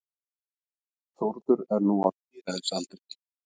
Þórður er nú á tíræðisaldri.